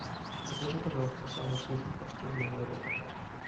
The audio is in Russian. закажи пожалуйста самый вкусный паштет для моего кота